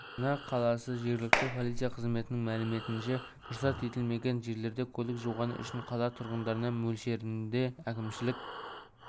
астана қаласы жергілікті полиция қызметінің мәліметінше рұқсат етілмеген жерлерде көлік жуғаны үшін қала тұрғындарына мөлшерінде әкімшілік